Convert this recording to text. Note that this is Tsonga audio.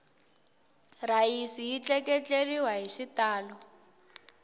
rhayisi yi tleketleriwele hi xitalo